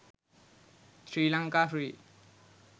sri lanka free